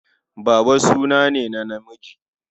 Baba suna ne na namiji.